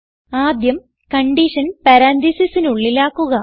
ആദ്യം കൺഡിഷൻ പരാൻതീസിസിന് ഉള്ളിലാക്കുക